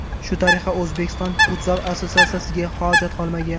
Shu tariqa O‘zbekiston Futzal Assotsiatsiyasiga hojat qolmagan.